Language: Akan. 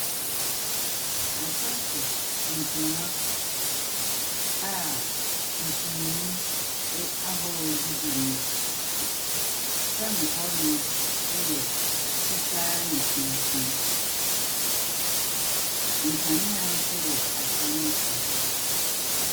Asa so nkonnwa a nsumii ahorow gugu mu. Fam hɔnom yɛ fitaa ne tuntun. Nkanea nso wɔ asa no so bi.